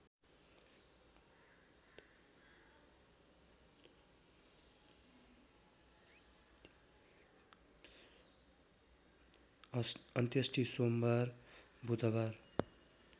अन्त्येष्टि सोमबार बुधबार